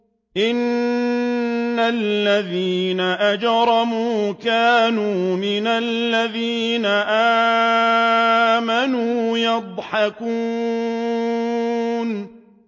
إِنَّ الَّذِينَ أَجْرَمُوا كَانُوا مِنَ الَّذِينَ آمَنُوا يَضْحَكُونَ